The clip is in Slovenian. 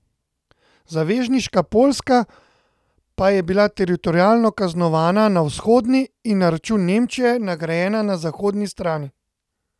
Zavezniška Poljska pa je bila teritorialno kaznovana na vzhodni in na račun Nemčije nagrajena na zahodni strani.